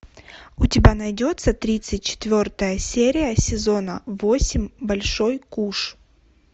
у тебя найдется тридцать четвертая серия сезона восемь большой куш